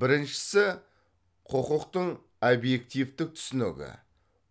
біріншісі құқықтың обьективтік түсінігі